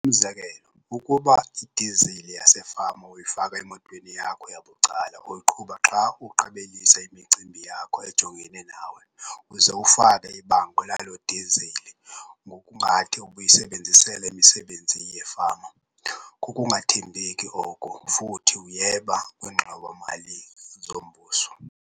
Umzekelo- ukuba idizili yasefama uyifaka emotweni yakho yabucala oyiqhuba xa uqabelisa imicimbi yakho ejongene nawe uze ufake ibango laloo dizili ngokungathi ubuyisebenzisele imisebenzi yefama, kukungathembeki oko futhi uyeba kwiingxowa-mali zombuso.